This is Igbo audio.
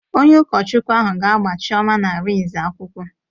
Onye ụkọchukwụ ahụ ga-agba Chioma na Arinze akwụkwọ